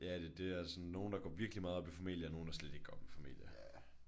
Ja det det og sådan nogle der går virkelig meget op i formalia og nogle der slet ikke går op i formalia